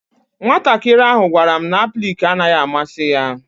Nwatakịrị ahụ gwara m na aplịk naghị amasị ya.